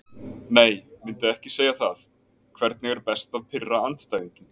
Nei myndi ekki segja það Hvernig er best að pirra andstæðinginn?